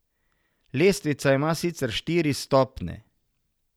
Lestvica ima sicer štiri stopnje.